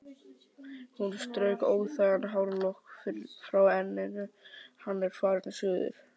Hún strauk óþægan hárlokk frá enninu: Hann er farinn suður